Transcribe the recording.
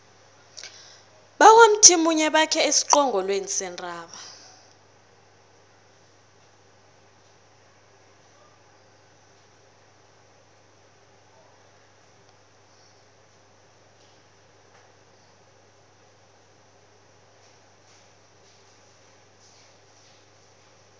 bakwamthimunye bakhe esiqongolweni sentaba